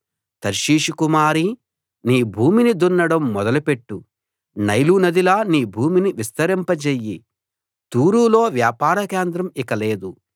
తర్షీషు కుమారీ నీ భూమిని దున్నడం మొదలు పెట్టు నైలు నదిలా నీ భూమిని విస్తరింపజెయ్యి తూరులో వ్యాపార కేంద్రం ఇక లేదు